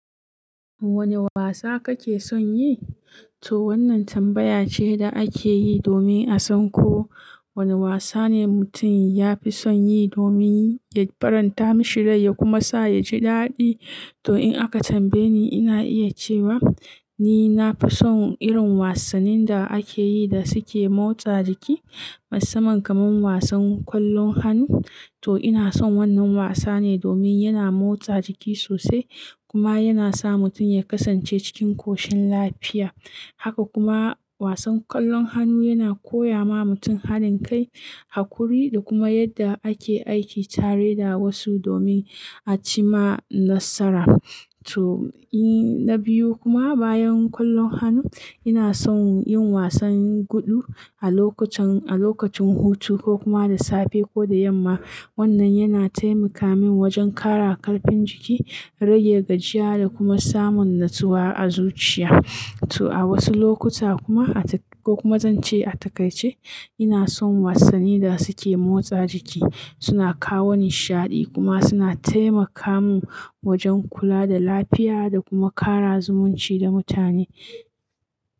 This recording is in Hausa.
Wane wasa kake son yi? To wannan tambaya ce da ake yi domin a san ko wane wasa ne mutum ya fi son yi domin ya faranta mashi rai ya kuma sa ya ji daɗi. To in aka tambaye ni, ina iya cewa ni na fi son irin wasannin da ake yi da suke motsa jiki, musamman kamar wasan ƙwallon hannu. To ina son wannan wasa ne domin yana motsa jiki sosai kuma yana sa mutum ya kasance cikin koshin lafiya. Haka kuma wasan ƙwallon hannu yana koya ma mutum hadin kai, haƙuri da kuma yadda ake aiki tare da wasu domin a ci ma nasara. To, in-- na biyu kuma bayan ƙwallon hannu, ina son yin wasan gudu a lokacin-- a lokacin hutu ko kuma da safe ko da yamma. Wannan yana taimaka min wajen ƙara ƙarfin jiki, rage gajiya da kuma samun natsuwa a zuciya. To a wasu lokuta kuma, a ta-- ko kuma zance a takaice, ina son wasannin da suke motsa jiki. Suna kawo nishaɗi kuma suna taimaka mu wajen kula da lafiya da kuma ƙara zumunci da mutane.